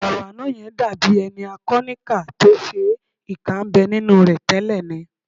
Ọ̀rọ̀ àná yẹn dàbí ẹni a kọ níkà tó ṣe é, ìkà ń bẹ nínú rẹ tẹ́lẹ̀ ni